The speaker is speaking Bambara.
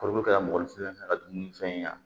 Kɔrɔbɔrɔ kɛra mɔgɔninfin ka dumunifɛn